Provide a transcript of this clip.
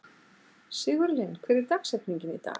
Sigurlinn, hver er dagsetningin í dag?